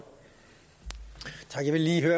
lidt